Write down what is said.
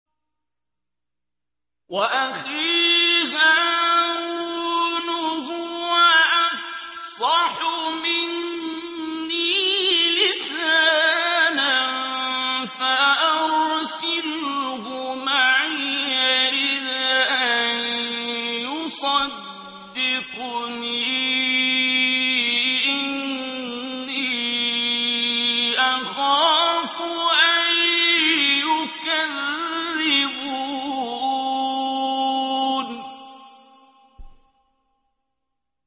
وَأَخِي هَارُونُ هُوَ أَفْصَحُ مِنِّي لِسَانًا فَأَرْسِلْهُ مَعِيَ رِدْءًا يُصَدِّقُنِي ۖ إِنِّي أَخَافُ أَن يُكَذِّبُونِ